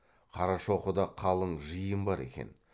қарашоқыда қалың жиын бар екен